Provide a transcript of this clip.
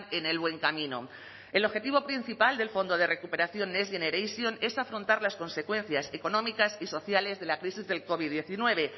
en el buen camino el objetivo principal del fondo de recuperación next generation es afrontar las consecuencias económicas y sociales de la crisis del covid diecinueve